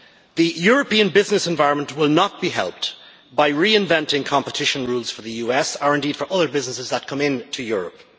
The European business environment will not be helped by reinventing competition rules for the US, or indeed for other businesses that come into Europe.